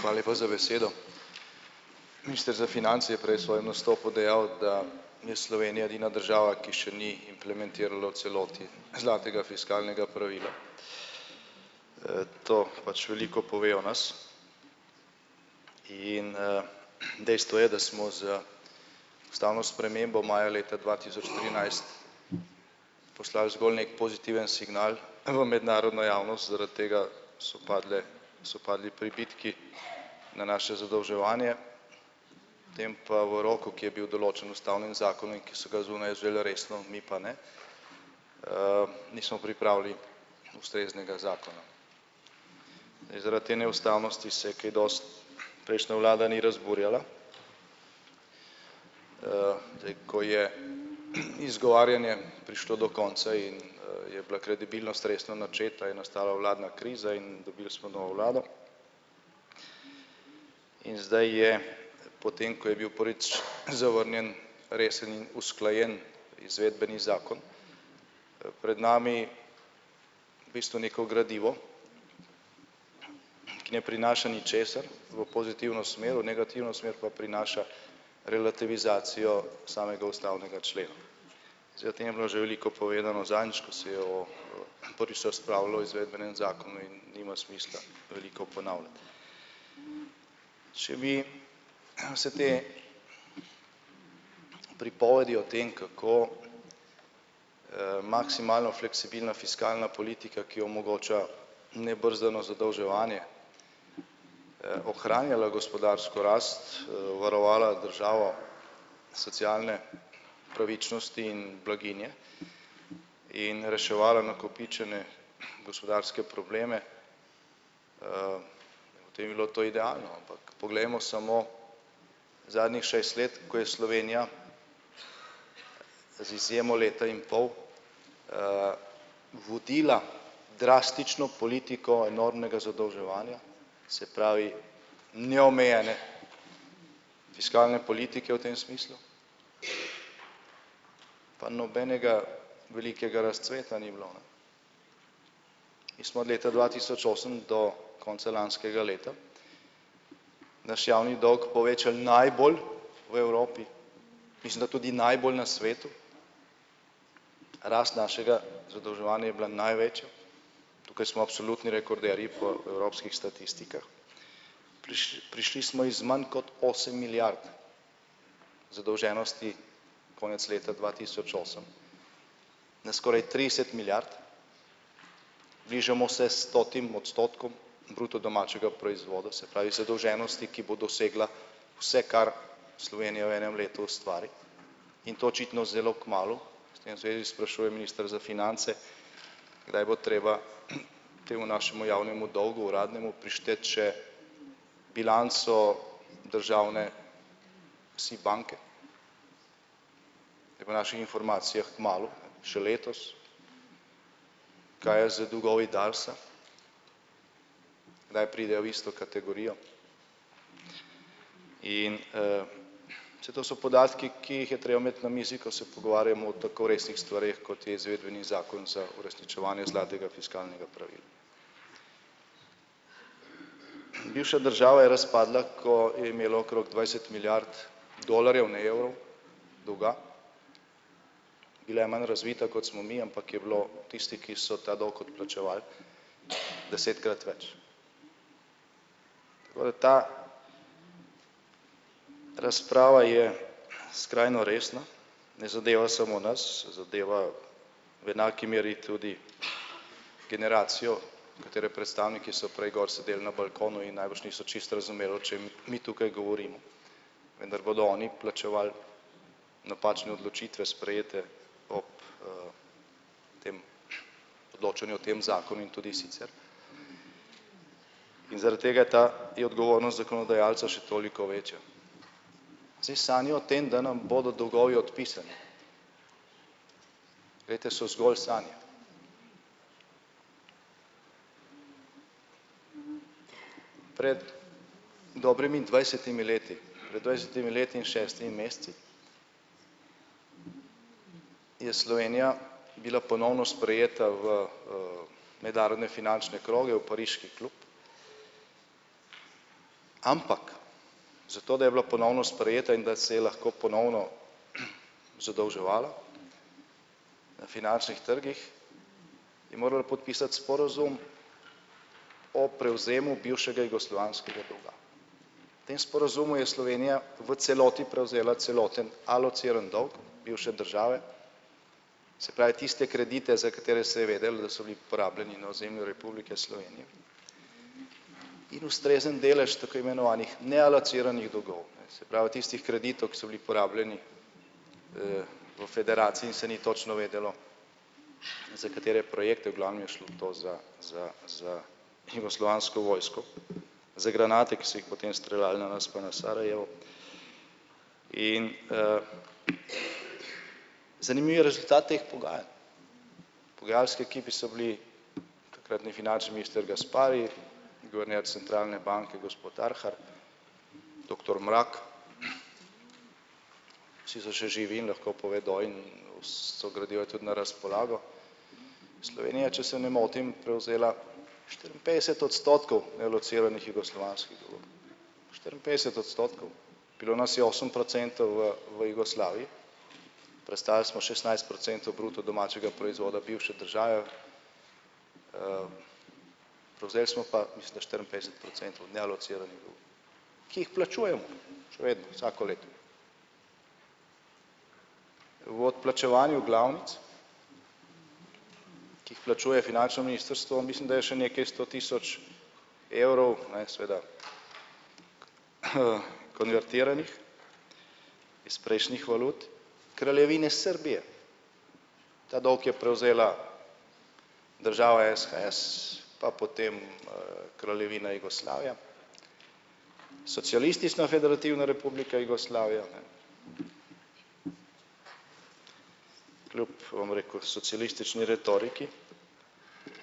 Hvala lepa za besedo. Minister za finance je prej svojem nastopu dejal, da je Slovenija edina država, ki še ni implementirala v celoti zlatega fiskalnega pravila. To pač veliko pove o nas. In, dejstvo je, da smo z ustavno spremembo maja leta dva tisoč trinajst poslali zgolj neki pozitiven signal v mednarodno javnost, zaradi tega so padle, so padli pribitki na naše zadolževanje, tem pa v roku, ki je bil določen ustavnem zakonu in ki so ga zunaj vzeli resno, mi pa ne, nismo pripravili ustreznega zakona. In zaradi te neustavnosti se je kaj dosti prejšnja vlada ni razburjala, zdaj, ko je izgovarjanje prišlo do konca in, je bila kredibilnost resno načeta, je nastala vladna kriza in dobili smo novo vlado, in zdaj je, potem ko je bil prvič zavrnjen resen in usklajen izvedbeni zakon, pred nami bistvu neko gradivo, ki ne prinaša ničesar v pozitivno smer, v negativno smer pa prinaša relativizacijo samega ustavnega člena. Zdaj, o tem je bilo že veliko povedano. Zadnjič, ko se je o, prvič se je razpravljalo o izvedbenem zakonu in nima smisla veliko ponavljati. Če mi se te pripovedi o tem, kako, maksimalno fleksibilna fiskalna politika, ki omogoča nebrzdano zadolževanje, ohranjala gospodarsko rast, varovala državo socialne pravičnosti in blaginje in reševala nakopičene gospodarske probleme, o tem bi bilo to idealno, ampak poglejmo samo zadnjih šest let, ko je Slovenija z izjemo leta in pol, vodila drastično politiko enormnega zadolževanja, se pravi neomejene fiskalne politike, v tem smislu pa nobenega velikega razcveta ni bilo, ne. In smo od leta dva tisoč osem do konca lanskega leta naš javni dolg povečali najbolj v Evropi, mislim, da tudi najbolj na svetu, rast našega zadolževanja je bila največja, tukaj smo absolutni rekorderji po evropskih statistikah. prišli smo iz manj kot osem milijard zadolženosti konec leta dva tisoč osem na skoraj trideset milijard, bližamo se stotim odstotkom bruto domačega proizvoda, se pravi zadolženosti, ki bo dosegla vse, kar Slovenija v enem letu ustvari, in to očitno zelo kmalu, s tem se že sprašuje minister za finance, kdaj bo treba temu našemu javnemu dolgu uradnemu prišteti še bilanco državne si banke. Ej, po naših informacijah kmalu, še letos. Kaj je z dolgovi Darsa? Kdaj pride v isto kategorijo? In, se to so podatki, ki jih je treba imeti na mizi, ko se pogovarjamo o tako resnih stvareh, kot je izvedbeni zakon za uresničevanje zlatega fiskalnega pravila. Bivša država je razpadla, ko je imela okrog dvajset milijard dolarjev, ne evrov, dolga. Bila je manj razvita, kot smo mi, ampak je bilo tistih, ki so ta dolg odplačevali, desetkrat več. To je ta, ta razprava je skrajno resna, ne, zadeva samo nas, zadeva v enaki meri tudi generacijo, katere predstavniki so prej gor sedeli na balkonu in najbrž niso čisto razumeli, o čem mi tukaj govorimo. Vendar bodo oni plačevali napačne odločitve sprejete ob tem odločanju o tem zakonu in tudi sicer in zaradi tega je ta odgovornost zakonodajalca še toliko večja. Si sanjajo o tem, da nam bodo dolgovi odpisani, glejte, so zgolj sanje. Pred dobrimi dvajsetimi leti, pred dvajsetimi leti in šestimi meseci je Slovenija bila ponovno sprejeta v, mednarodne finančne kroge, v pariški klub, ampak za to, da je bila ponovno sprejeta in da se je lahko ponovno zadolževala na finančnih trgih, je morala podpisati sporazum o prevzemu bivšega jugoslovanskega dolga. V tem sporazumu je Slovenija v celoti prevzela celoten alocirani dolg bivše države, se pravi, tiste kredite, za katere se je vedelo, da so bili porabljeni na ozemlju Republike Slovenije in ustrezen delež tako imenovanih nealociranih dolgov, se pravi, tistih kreditov, ki so bili porabljeni, v federaciji in se ni točno vedelo, za katere projekte, v glavnem je šlo to za za za jugoslovansko vojsko, za granate, ki so jih potem streljali na nas pa na Sarajevo, in, zanimive rezultate teh pogajanj. Pogajalski ekipi so bili takrtni finančni minister Gaspari, guverner centralne banke gospod Arhar, doktor Mrak, vsi so še živi in lahko povedo, vse gradivo je tudi na razpolago. Slovenija, če se ne motim, prevzela štiriinpetdeset odstotkov alociranih jugoslovanskega. Štiriinpetdeset odstotkov. Bilo nas je osem procentov v v Jugoslaviji, prestali smo šestnajst procentov bruto domačega proizvoda bivše države, prevzeli smo pa mislim, da štiriinpetdeset procentov nealociranih dolgov, ki jih plačujemo še vedno, vsako leto. V odplačevanju glavnic, ki jih plačuje finančno ministrstvo, mislim, da je še nekaj sto tisoč evrov, ne, seveda konvertiranih iz prejšnjih valut Kraljevine Srbije. Ta dolg je prevzela država SHS pa potem, Kraljevina Jugoslavija, Socialistična federativna republika Jugoslavija, ne, kljub, bom rekel, socialistični retoriki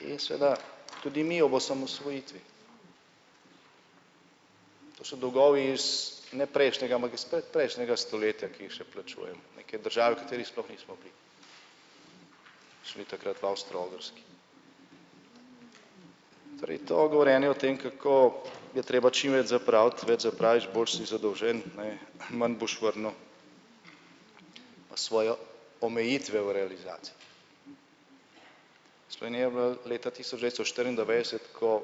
in seveda tudi mi ob osamosvojitvi. To so dolgovi iz ne prejšnjega, ampak iz predprejšnjega stoletja, ki jih še plačujemo neki državi, v kateri sploh nismo bili. Šli takrat v Avstro-Ogrski. Torej to govorjenje o tem, kako je treba čim več zapraviti, več zapraviš, bolj si zadolžen, ne, manj boš vrnil na svojo omejitveno realizacijo. Sloveniji je v letu tisoč devetsto štiriindevetdeset, ko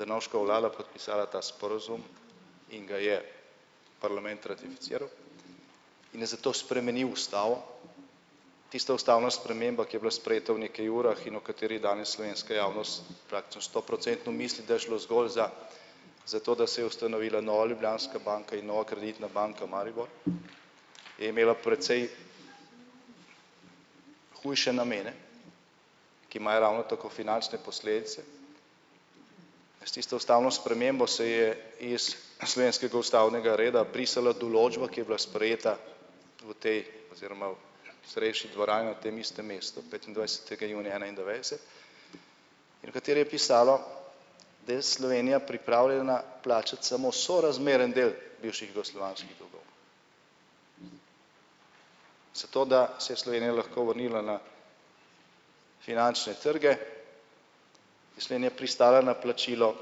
Drnovškova vlada podpisala ta sporazum in ga je parlament ratificiral in je zato spremenil ustavo, tista ustavna sprememba, ki je bila sprejeta v nekaj urah in o kateri danes slovenska javnost praktično stoprocentno misli, da je šlo zgolj za za to, da se je ustanovila Nova Ljubljanska banka in Nova kreditna banka Maribor je imela precej hujše namene, ki imajo ravno tako finančne posledice. S tisto ustavno spremembo se je iz slovenskega ustavnega reda brisala določba, ki je bila sprejeta v tej oziroma v starejši dvorani na tem istem mestu petindvajsetega junija enaindevetdeset in v kateri je pisalo, da je Slovenija pripravljena plačati samo sorazmeren del bivših jugoslovanskih dolgov. Zato da se je Slovenija lahko vrnila na finančne trge, je slednje pristala na plačilo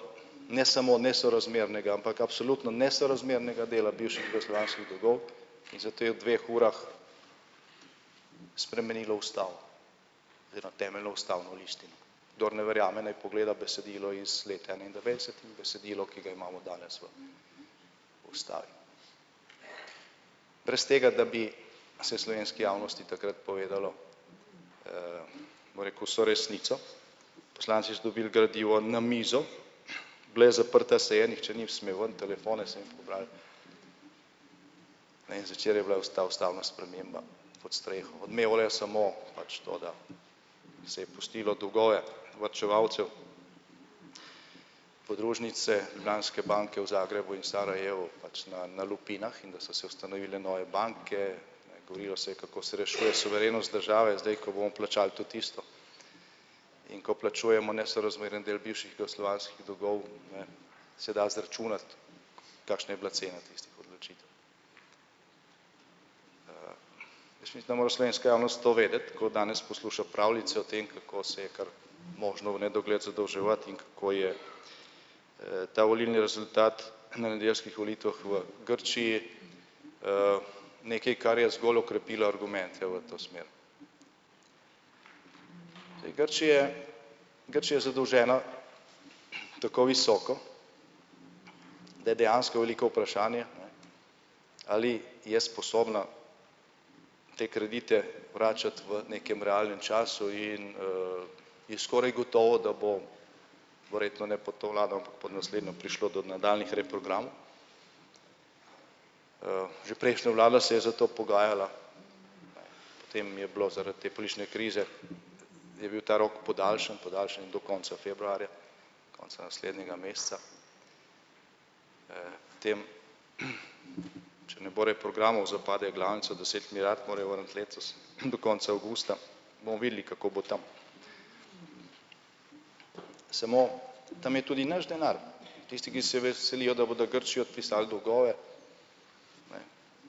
ne samo nesorazmernega, ampak absolutno nesorazmernega dela bivših jugoslovanskih dolgov, in zato je v dveh urah spremenila ustavo. Oziroma temeljno ustavno listino. Kdor ne verjame, naj pogleda besedilo iz leta enaindevetdeset in besedilo, ki ga imamo danes v ustavi. Brez tega, da bi se slovenski javnosti takrat povedalo, bom rekel, vso resnico, poslanci so dobili gradivo na mizo, bila je zaprta seja, nihče ni smel ven, telefone so jim pobrali, ne, in zvečer je bila ta ustavna sprememba pod streho. Odmevalo je samo pač to, da se je pustilo dolgove varčevalcev. Podružnice Ljubljanske banke v Zagrebu in Sarajevu pač na na lupinah in da so se ustanovile nove banke, govorilo se je, kako se rešuje suverenost države, zdaj ko bomo plačali tudi isto. In ko plačujemo nesorazmerni del bivših jugoslovanskih dolgov, ne, se da izračunati, kakšna je bila cena tistih odločitev. Jaz mislim, da mora slovenska javnost to vedeti, kaj danes posluša pravljice o tem, kako se je kar možno v nedogled zadolževati in kako je ta volilni rezultat na nedeljskih volitvah v Grčiji, nekaj, kar je zgolj okrepilo argumente v to smer. Zdaj, Grčije Grčija je zadolžena, tako visoko, da je dejansko veliko vprašanje, ali je sposobna te kredite vračati v nekem realnem času in, je skoraj gotovo, da bo verjetno ne pod to vlado, ampak pod naslednjo, prišlo do nadaljnjih reprogramov. Že prejšnja vlada se je za to pogajala, potem je bil zaradi te politične krize je bil ta rok podaljšan. Podaljšan je do konca februarja. Konca naslednjega meseca. Potem, če ne bo reprogramov, zapade glavnica, deset milijard morejo vrniti letos in do konca avgusta bomo videli, kako bo tam. Samo tam je tudi naš denar tisti, ki se veselijo, da bodo Grčiji odpisali dolgove,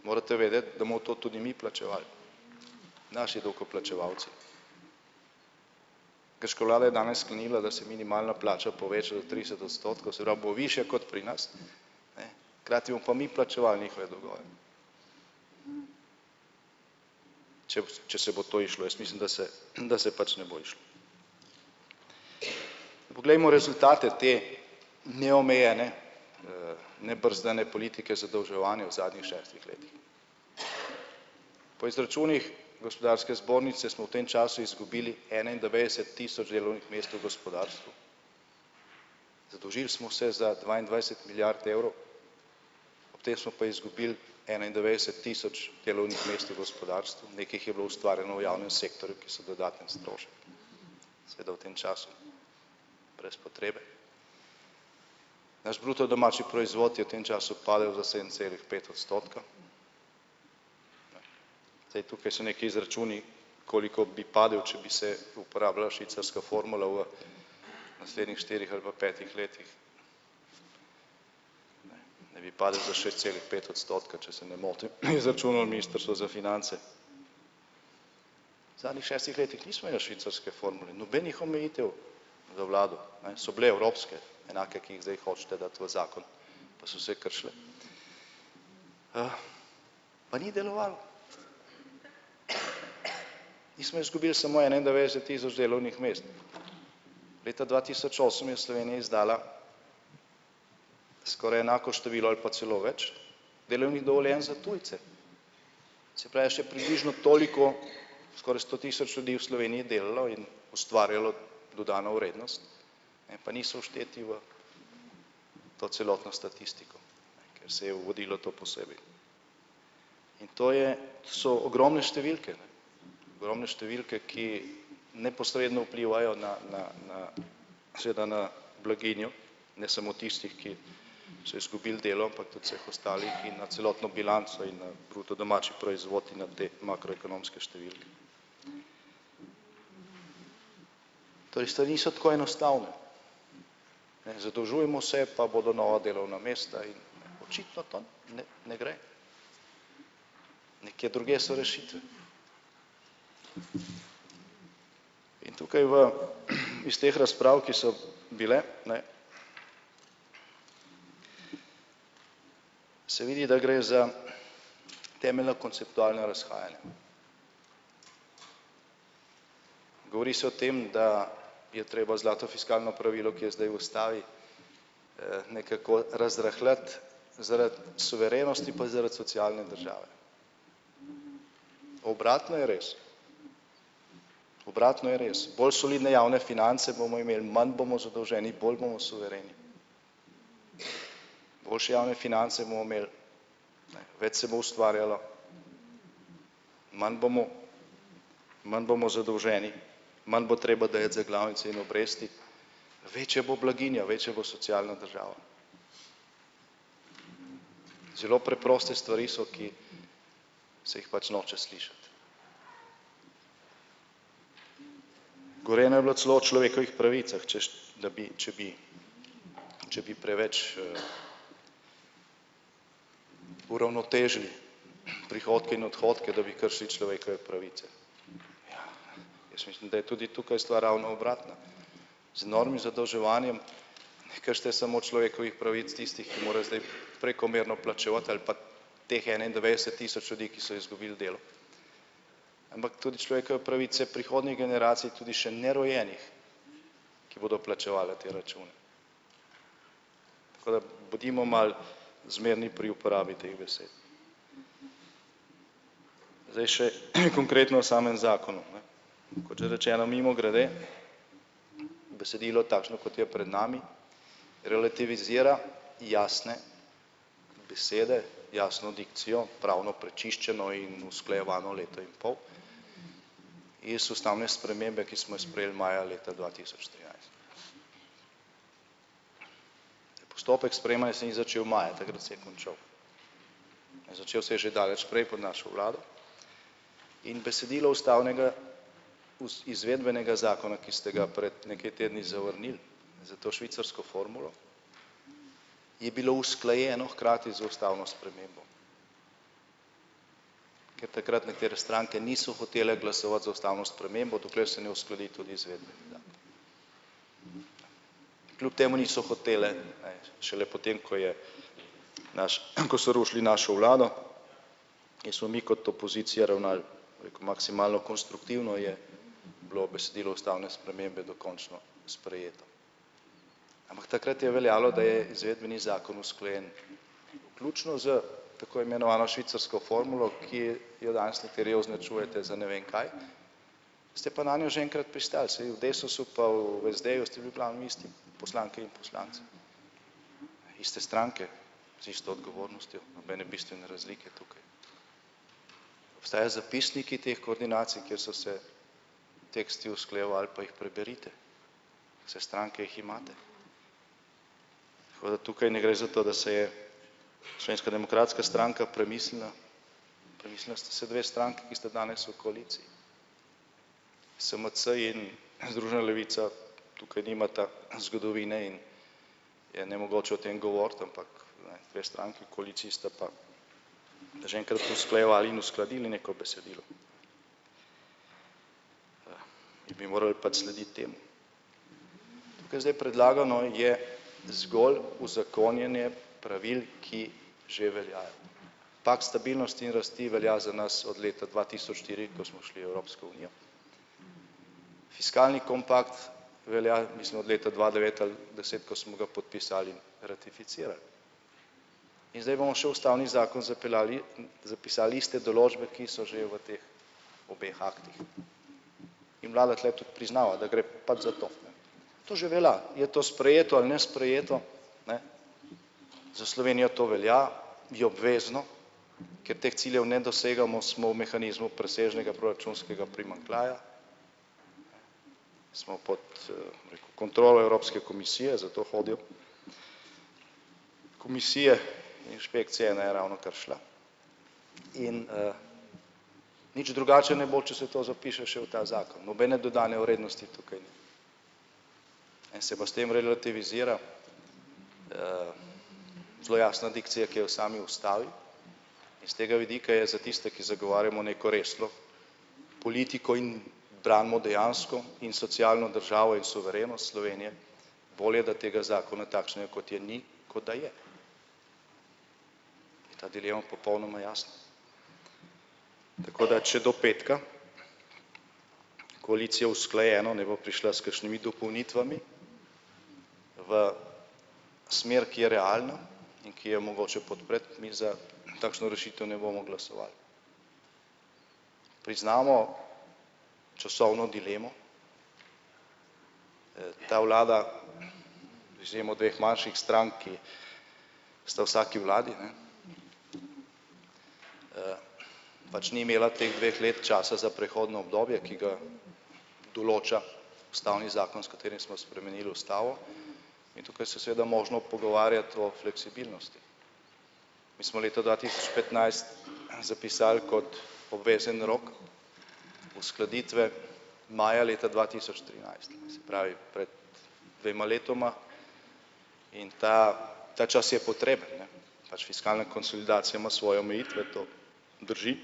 morate vedeti, da bomo to tudi mi plačevali, naši davkoplačevalci. Grška vlada je danes sklenila, da se minimalna plača poveča do trideset odstotkov, se pravi, bo višja kot pri nas, hkrati bomo pa mi plačevali njihove dolgove. Če če se bo to izšlo, jaz mislim, da se da se pač ne bo izšlo. Poglejmo rezultate te neomejene nebrzdane politike zadolževanja v zadnjih šestih letih. Po izračunih gospodarske zbornice smo v tem času izgubili enaindevetdeset tisoč delovnih mest v gospodarstvu. Zadolžili smo se za dvaindvajset milijard evrov, ob tem smo pa izgubili enaindvajset tisoč delovnih mest v gospodarstvu, nekaj jih je bilo ustvarjeno v javnem sektorju, ki so dodaten strošek. Seveda v tem času brez potrebe. Naš bruto domači proizvod je v tem času padel za sedem celih pet odstotka, zdaj, tukaj so neki izračuni, koliko bi padel, če bi se uporabljala švicarska formula v naslednjih štirih ali pa petih letih. Naj bi padel za šest celih pet odstotka, če se ne motim, je izračunalo ministrstvo za finance. V zadnjih šestih nismo imeli švicarske formule, nobenih omejitev za vlado, ne, so bile evropske enake, ki jih zdaj hočete dati v zakon, pa so se kršile. Pa ni delovalo. Nismo izgubili samo enaindevetdeset tisoč delovnih mest, leta dva tisoč osem je Slovenija izdala skoraj enako število ali pa celo več delovnih dovoljenj za tujce, se pravi, še približno toliko, skoraj sto tisoč ljudi v Sloveniji delalo in ustvarjalo dodano vrednost, ne, pa niso všteti v to celotno statistiko, ker se vodilo to posebej. In to je so ogromne številke, ne, ogromne številke, ki neposredno vplivajo na na na seveda na blaginjo ne samo tistih, ki so izgubili delo, ampak tudi so jih ostali in na celotno bilanco in na bruto domači proizvod na te makroekonomske številke. Torej stvari so tako enostavne. Ne, zadolžujemo se pa bodo nova delovna mesta in očitno to ne ne gre. Nekje drugje so rešitve. In tukaj v iz teh razprav, ki so bile, ne, se vidi, da gre za temeljno konceptualna razhajanja. Govori se o tem, da je treba zlato fiskalno pravilo, ki je zdaj v ustavi, nekako razrahljati zaradi suverenosti pa zaradi socialne države. Obratno je res. Obratno je res, bolj solidne javne finance bomo imeli, manj bomo zadolženi, bolj bomo suvereni. Boljše javne finance bomo imeli, več se bo ustvarjalo, manj bomo manj bomo zadolženi, manj bo treba dajati za glavne cene obresti, večja bo blaginja, večja bo socialna država. Zelo preproste stvari so, ki se jih pač noče slišati. Govorjenja je bilo celo o človekovih pravicah, češ da bi, če bi če bi preveč, uravnotežili prihodke in odhodke, da bi kršili človekove pravice. Jaz mislim, da je tudi tukaj stvar ravno obratna, z novim zadolževanjem ne kršite samo človekovih pravic tistih, ki morajo zdaj prekomerno plačevati ali pa teh enaindvajset tisoč ljudi, ki so izgubili delo. Ampak tudi človekove pravice prihodnje generacije, tudi še nerojenih, ki bodo plačevale te račune. Tako da bodimo malo zmerni pri uporabi teh besed. Zdaj še konkretno o samem zakonu ne. Kot že rečeno, mimogrede besedilo takšno, kot je pred nami, relativizira jasne besede, jasno dikcijo, javno prečiščeno in usklajevano leto in pol iz ustavne spremembe, ki smo jo sprejeli maja leta dva tisoč trinajst. Zdaj, postopek sprejemanja se ni začel maja, takrat se je končal. Začel se je že daleč prej pod našo vlado in besedilo ustavnega izvedbenega zakona, ki ste ga pred nekaj tedni zavrnili za to švicarsko formulo, je bilo usklajeno hkrati z ustavno spremembo. Ker takrat nekatere stranke niso hotele glasovati za ustavno spremembo, dokler se ne uskladi tudi izvedbeni zakon. Kljub temu niso hotele, šele potem ko je, naš, ko so rušili našo vlado in smo mi kot opozicija ravnali maksimalno konstruktivno, je bilo besedilo ustavne spremembe dokončno sprejeto. Ampak takrat je veljalo, da je izvedbeni zakon usklajen, vključno s tako imenovano švicarsko formulo, ki jo danes nekateri označujete za ne vem kaj, ste pa nanjo že enkrat pristali, vsaj v Desusu pa v SD-ju ste bili glavnem isti poslanke in poslanci. Iste stranke z isto odgovornostjo, nobene bistvene razlike tukaj. Obstajajo zapisniki teh koordinacij, kjer so se teksti usklajevali, pa jih preberite. Saj stranke jih imate. Tako da tukaj ne gre za to, da se je Slovenska demokratska stranka premislila, premislili sta se dve stranki, ki sta danes v koaliciji. SMC in Združena levica tukaj nimata zgodovine in je nemogoče o tem govoriti, ampak dve stranki v koaliciji sta pa že enkrat usklajevali in uskladili neko besedilo. In bi morali pač slediti temu. Tukaj zdaj predlagano je zgolj uzakonjenje pravil, ki že veljajo. Pakt stabilnosti in rasti velja za nas od leta dva tisoč štiri, ko smo šli v Evropsko unijo, fiskalni kompakt velja, mislim, od leta dva devet ali deset, ko smo podpisali in ratificirali. In zdaj bomo še ustavni zakon zapeljali zapisali iste določbe, ki so že v teh obeh aktih. In vlada tule tudi priznava, da gre pač za to, to že velja, je to sprejeto ali nesprejeto, ne, za Slovenijo to velja, je obvezno, ker teh ciljev ne dosegamo, smo v mehanizmu presežnega proračunskega primanjkljaja, smo pod, neko kontrolo Evropske komisije, zato hodijo komisije, inšpekcija ena je ravnokar šla, in, nič drugače ne bo, če se to zapiše še v ta zakon, nobene dodane vrednosti tukaj ni. En se pa s tem relativizira, zelo jasna dikcija, ki je v sami ustavi, iz tega vidika je za tiste, ki zagovarjamo neko resno politiko in branimo dejansko in socialno državo in suverenost Slovenije, bolje, da tega zakona takšnega, kot je, ni, kot da je. Je ta dilema popolnoma jasna. Tako da če do petka koalicija usklajeno ne bo prišla s kakšnimi dopolnitvami v smer, ki je realna in ki jo mogoče podpre, mi za za takšno rešitev ne bomo glasovali. Priznamo časovno dilemo, ta vlada z izjemo dveh manjših strank, ki sta vsaki vladi, ne, pač ni imela teh dveh let časa za prehodno obdobje, ki ga določa ustavni zakon, s katerim smo spremenili ustavo, in tukaj se je seveda možno o fleksibilnosti. Mi smo leta dva tisoč petnajst zapisali kot obvezen rok uskladitve maja leta dva tisoč trinajst. Se pravi, pred dvema letoma, in ta ta čas je potreben, ne, pač fiskalna konsolidacija ima svoje omejitve, to drži,